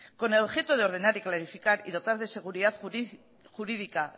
con el objeto de ordenar clarificar y dotar de seguridad jurídica